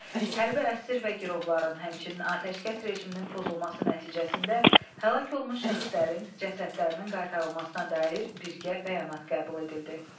Hərbi əsir və girovların, həmçinin atəşkəs rejiminin pozulması nəticəsində həlak olmuş şəxslərin cəsədlərinin qaytarılmasına dair birgə bəyanat qəbul edildi.